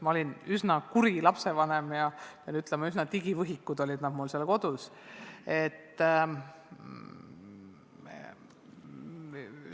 Ma olen üsna kuri lapsevanem ja pean ütlema, et nad olid mul seal kodus üsna suured digivõhikud.